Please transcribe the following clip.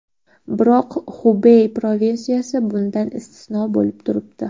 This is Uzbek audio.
Biroq Xubey provinsiyasi bundan istisno bo‘lib turibdi.